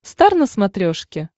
стар на смотрешке